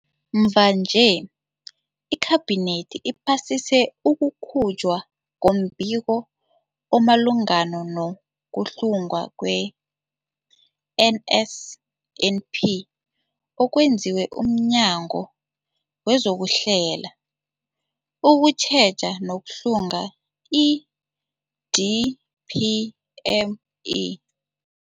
Mvanje, iKhabinethi iphasise ukukhutjhwa kombiko omalungana no-kuhlungwa kwe-NSNP okwenziwe mNyango wezokuHlela, ukuTjheja nokuHlunga, i-DPME.